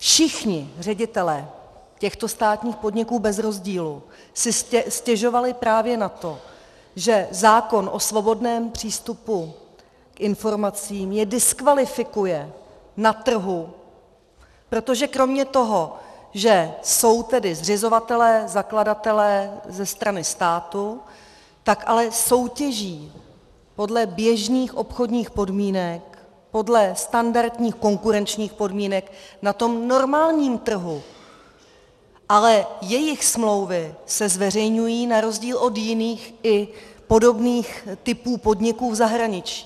Všichni ředitelé těchto státních podniků bez rozdílu si stěžovali právě na to, že zákon o svobodném přístupu k informacím je diskvalifikuje na trhu, protože kromě toho, že jsou tedy zřizovatelé, zakladatelé ze strany státu, tak ale soutěží podle běžných obchodních podmínek podle standardních konkurenčních podmínek na tom normálním trhu, ale jejich smlouvy se zveřejňují na rozdíl od jiných i podobných typů podniků v zahraničí.